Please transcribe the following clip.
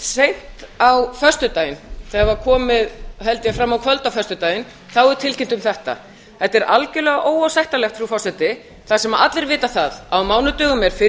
seint á föstudaginn þegar var komið held ég fram á kvöld á föstudaginn þá er tilkynnt um þetta þetta er algerlega óásættanlegt frú forseti þar sem allir vita það að á mánudögum er